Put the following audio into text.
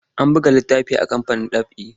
Ana buga littafi a kamfanin ɗab'i.